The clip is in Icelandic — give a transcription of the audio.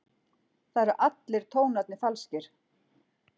Það eru allir tónarnir falskir.